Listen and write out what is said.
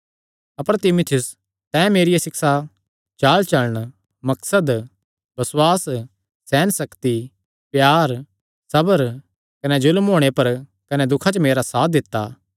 अपर तीमुथियुस तैं मेरिया सिक्षा चालचलण मकसद बसुआस सेहनसक्ति प्यार सबर कने जुल्म होणे पर कने दुखां च मेरा साथ दित्ता